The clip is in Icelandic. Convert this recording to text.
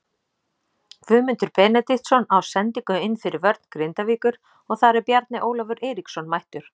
Guðmundur Benediktsson á sendingu inn fyrir vörn Grindavíkur og þar er Bjarni Ólafur Eiríksson mættur.